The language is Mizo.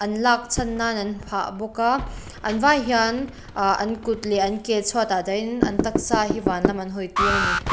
an lak chhan nan an phah bawk a an vai hian ah an kut leh an ke chhuat ah dahin an taksa hi van lam an hawi tir ani.